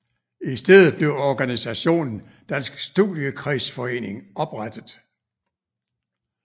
I stedet blev organisationen Dansk Studiekredsforening oprettet